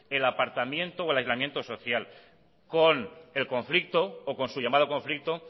el apartamiento o aislamiento social con el conflicto o con su llamado conflicto